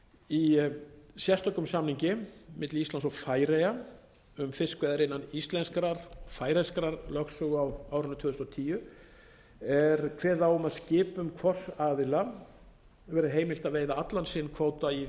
í sérstökum samningi milli íslands og færeyja um fiskveiðar innan íslenskrar færeyskrar lögsögu á árinu tvö þúsund og tíu er kveðið á um að skipum hvors aðila verði heimilt að veiða allan sinn kvóta í